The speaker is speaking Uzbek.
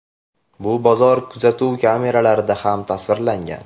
Bu bozor kuzatuv kameralarida ham tasvirlangan.